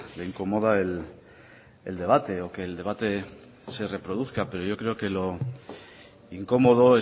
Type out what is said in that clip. le incomoda el debate o que el debate se reproduzca pero yo creo que lo incómodo